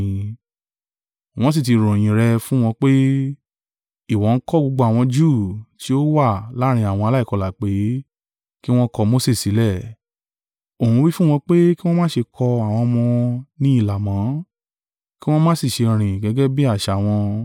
Wọ́n sì ti ròyìn rẹ̀ fún wọn pé, ìwọ ń kọ́ gbogbo àwọn Júù tí ó wà láàrín àwọn aláìkọlà pé, kí wọn kọ Mose sílẹ̀, ó ń wí fún wọn pé kí wọn má ṣe kọ àwọn ọmọ wọn ní ilà mọ́, kí wọn má sì ṣe rìn gẹ́gẹ́ bí àṣà wọn.